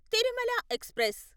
Tirumala express